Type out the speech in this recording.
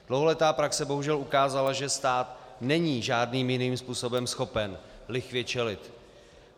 Dlouholetá praxe bohužel ukázala, že stát není žádným jiným způsobem schopen lichvě čelit.